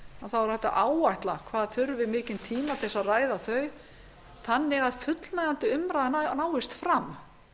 þá er hægt að áætla hvað þurfi mikinn tíma til að ræða þau þannig að fullnægjandi umræða náist fram þannig